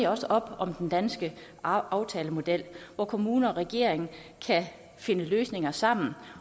også op om den danske aftalemodel hvor kommuner og regering kan finde løsninger sammen